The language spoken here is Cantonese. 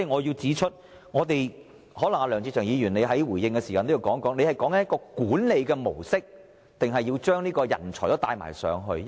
因此，梁志祥議員稍後在回應時可能亦須解釋一下，他所指的是管理模式，還是要將人才也輸送入內地？